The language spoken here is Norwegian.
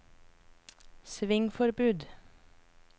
svingforbud